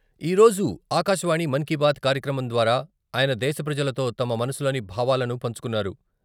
ఈరోజు ఆకాశవాణి మన్ కీ బాత్ కార్యక్రమం ద్వారా ఆయన దేశ ప్రజలతో తమ మనసులోని భావాలను పంచుకున్నారు.